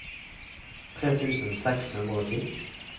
tre tusen seks hundre og ti